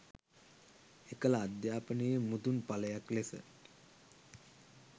එකල අධ්‍යාපනයේ මුදුන් ඵලයක් ලෙස